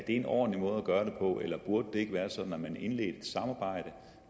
en ordentlig måde at gøre det på eller burde det ikke være sådan at man indledte et samarbejde